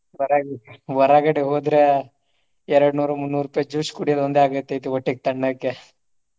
ಹೊರ~ ಹೊರಗಡೆ ಹೋದ್ರೆ ಎರಡ್ ನೂರು ಮುನ್ನೂರ ರೂಪಾಯಿ juice ಕುಡಿಯೋದೊಂದೆ ಆಗುತ್ತೆ ಹೊಟ್ಟೆಗೆ ತಣ್ಣಕೆ.